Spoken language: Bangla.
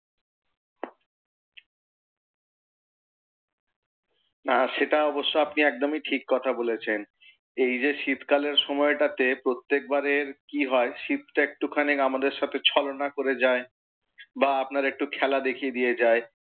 আহ সেটা আপনি একদমই ঠিক কথা বলেছেন। এই যে শীতকালের সময়টা তে প্রত্যেক বারের কি হয় শীতটা একটু আমাদের সাথে ছলনা করে যায়, বা আপনার একটু খেলা দেখিয়ে দিয়ে যায়।